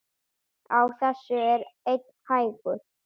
Á þessu er einn hængur.